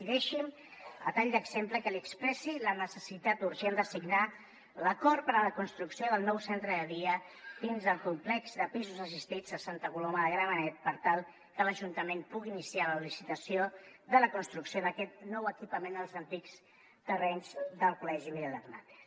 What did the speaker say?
i deixi’m a tall d’exemple que li expressi la necessitat urgent de signar l’acord per a la construcció del nou centre de dia dins el complex de pisos assistits a santa coloma de gramenet per tal que l’ajuntament pugui iniciar la licitació de la construcció d’aquest nou equipament als antics terrenys del col·legi miguel hernández